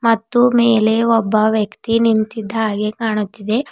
ಮತ್ತು ಮೇಲೆ ಒಬ್ಬ ವ್ಯಕ್ತಿ ನಿಂತಿದ್ದಾಗೆ ಕಾಣುತ್ತಿದೆ.